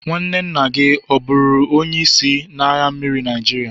nwanne nna gi oburu onye isi n'agha mmiri Naijiria?